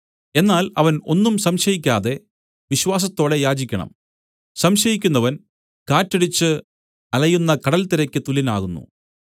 എന്നാൽ അവൻ ഒന്നും സംശയിക്കാതെ വിശ്വാസത്തോടെ യാചിക്കണം സംശയിക്കുന്നവൻ കാറ്റടിച്ച് അലയുന്ന കടൽത്തിരയ്ക്ക് തുല്യനാകുന്നു